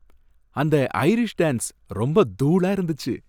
அந்த Irish dance ரொம்ப தூளா இருந்துச்சு!